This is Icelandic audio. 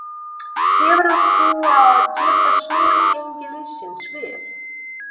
Hefurðu trú á að geta snúið gengi liðsins við?